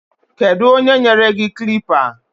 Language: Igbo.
Keduonye nyere gi klịppa?